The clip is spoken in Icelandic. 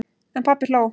En pabbi hló.